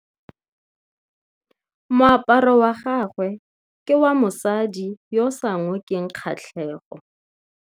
Moaparô wa gagwe ke wa mosadi yo o sa ngôkeng kgatlhegô.